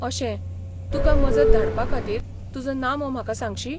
अशें, तुका मजत धाडपा खातीर तुजो नामो म्हाका सांगशी?